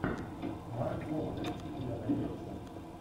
марк уолберг у тебя найдется